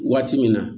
Waati min na